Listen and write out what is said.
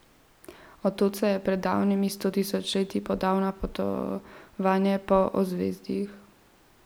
Od tod se je pred davnimi stotisočletji podal na popotovanje po ozvezdjih.